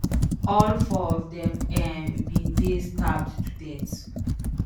All four of dem um bin dey stabbed to death